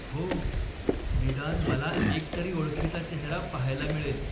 हो. निदान मला एक तरी ओळखीचा चेहरा पाहायला मिळेल.